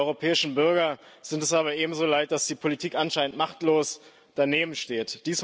Die europäischen Bürger sind es aber ebenso leid, dass die Politik anscheinend machtlos danebensteht.